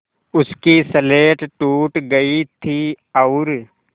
उसकी स्लेट टूट गई थी और